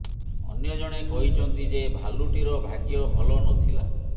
ଅନ୍ୟ ଜଣେ କହିଛନ୍ତି ଯେ ଭାଲୁଟିର ଭାଗ୍ୟ ଭଲ ନଥିଲା